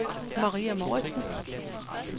Maria Mouritsen